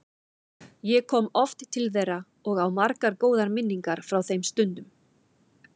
Ég kom oft til þeirra og á margar góðar minningar frá þeim stundum.